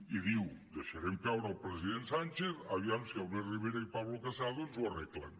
i diu deixarem caure el president sánchez aviam si albert rivera i pablo casado ens ho arreglen